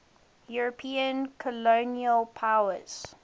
european colonial powers